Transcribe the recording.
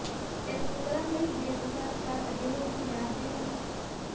ਇਸ ਨੂੰ ਕਰਨ ਲਈ ਦੇ ਅਨੁਸਾਰ ਚਾਰ ਅਜਿਹੇ ਦੀ ਮਿਆਦ ਦੇ ਹਨ